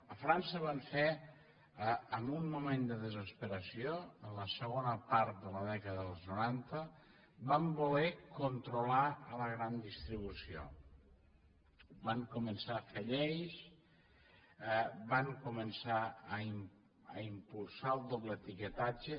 a frança van fer en un moment de desesperació en la segona part de la dècada dels noranta van voler controlar la gran distribució van començar a fer lleis van començar a impulsar el doble etiquetatge